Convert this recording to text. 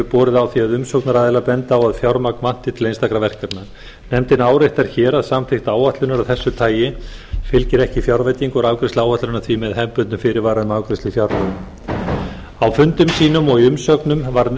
borið á því að umsagnaraðilar bendi á að fjármagn vanti til einstakra verkefna nefndin áréttar hér að samþykkt áætlunar af þessu tagi fylgir ekki fjárveiting og er afgreiðsla áætlunarinnar því með hefðbundnum fyrirvara um afgreiðslu í fjárlögum á fundum sínum og í